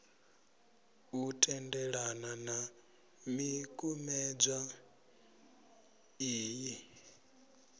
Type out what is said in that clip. a tendelana na ḽikumedzwa iḽi